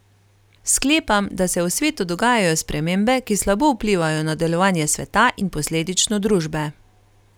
Sklepam, da se v svetu dogajajo spremembe, ki slabo vplivajo na delovanje sveta in posledično družbe.